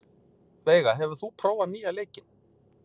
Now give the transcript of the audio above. Veiga, hefur þú prófað nýja leikinn?